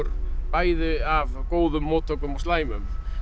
bæði af góðum móttökum og slæmum